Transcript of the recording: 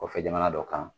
Kɔfɛ jamana dɔ kan